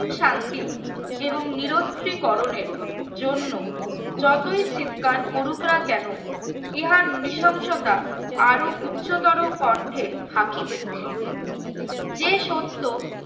শান্তি এবং নিরস্ত্রীকরণের জন্য যতই চিৎকার করুক না কেন ইহার নিশংসতা আরো উচ্চতর কণ্ঠে হাকীদের যে সত্য